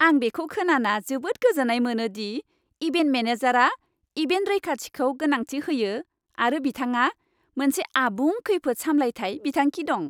आं बेखौ खोनाना जोबोद गोजोन्नाय मोनो दि इभेन्ट मेनेजारआ इभेन्ट रैखाथिखौ गोनांथि होयो आरो बिथांहा मोनसे आबुं खैफोद सामलायथाय बिथांखि दं।